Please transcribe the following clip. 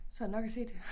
Så der nok at se til